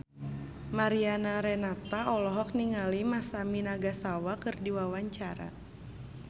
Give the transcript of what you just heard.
Mariana Renata olohok ningali Masami Nagasawa keur diwawancara